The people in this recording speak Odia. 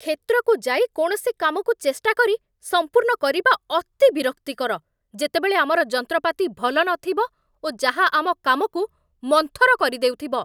କ୍ଷେତ୍ରକୁ ଯାଇ କୌଣସି କାମକୁ ଚେଷ୍ଟା କରି ସମ୍ପୁର୍ଣ୍ଣ କରିବା ଅତି ବିରକ୍ତିକର, ଯେତେବେଳେ ଆମର ଯନ୍ତ୍ରପାତି ଭଲ ନଥିବ ଓ ଯାହା ଆମ କାମକୁ ମନ୍ଥର କରିଦେଉଥିବ।